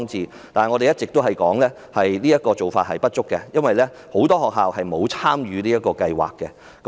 然而，我們一直說這樣做並不足夠，因為很多學校都沒有參與這項計劃。